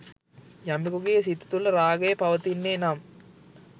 යමකුගේ සිත තුළ රාගය පවතින්නේ නම්